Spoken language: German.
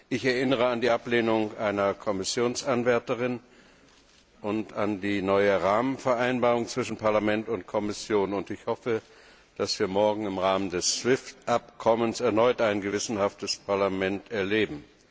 Ich erinnere an die Ablehnung einer Kommissionsanwärterin und an die neue Rahmenvereinbarung zwischen Parlament und Kommission, und ich hoffe, dass wir morgen im Rahmen des SWIFT Abkommens erneut ein gewissenhaftes Parlament erleben.